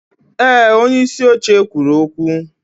Ee, onyeisi oche kwuru okwu.